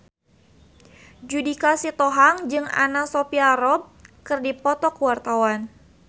Judika Sitohang jeung Anna Sophia Robb keur dipoto ku wartawan